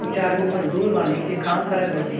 अ चार गो मजदुर बानी जे काम करत बानी।